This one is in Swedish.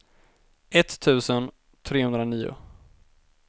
etttusen trehundranio